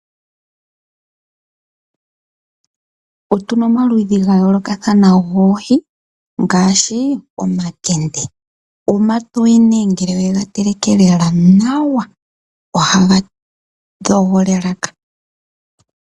Otuna omaludhi gayoolokathana goohi ngaashi omakende . Omatoye ngele yega teleke nawa, ohaga tokola elaka.